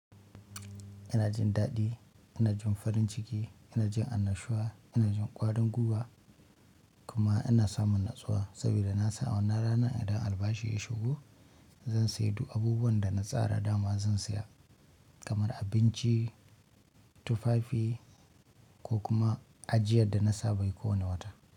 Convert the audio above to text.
Ina jin daɗi, ina jin farin ciki, ina jin annashuwa, ina jin ƙwarinn gwiwa kuma ina samun natsuwa saboda na san a wannan ranar idan albashi ya shigo zan sayi duk abubuwan da na tsara dama zan saya kamar abinci, tufafi ko kuma ajiyar da na saba kowane wata.